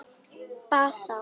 Bað þá